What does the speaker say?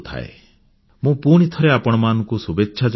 ମୁଁ ପୁଣିଥରେ ଆପଣମାନଙ୍କୁ ଶୁଭେଚ୍ଛା ଜଣାଉଛି